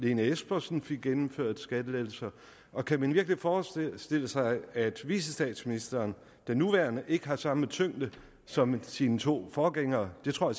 lene espersen fik gennemført skattelettelser og kan man virkelig forestille sig at vicestatsministeren den nuværende ikke har samme tyngde som sine to forgængere det tror